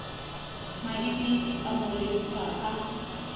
maidiidi a mo lesa a